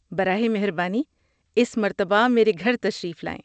براہ مہربانی اس مرتبہ میرے گھر تشریف لائیں۔